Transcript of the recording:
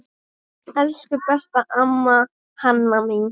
Elsku besta amma Hanna mín.